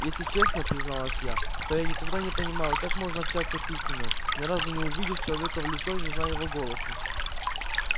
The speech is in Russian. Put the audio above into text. если честно призналась я то я никогда не понимала как можно общаться письменно ни разу не увидев человека в лицо и не зная его голоса